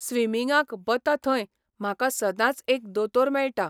स्विमिंगाक बता थंय म्हाका सदांच एक दोतोर मेळटा.